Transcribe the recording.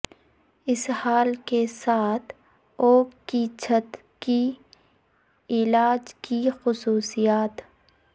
اسہال کے ساتھ اوک کی چھت کی علاج کی خصوصیات